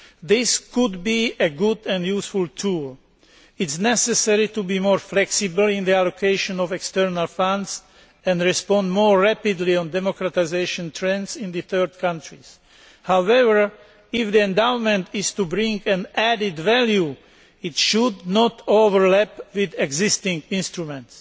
This could be a good and useful tool. It is necessary to be more flexible in the allocation of external funds and respond more rapidly to democratisation trends in third countries. However, if the endowment is to bring added value, it should not overlap with existing instruments.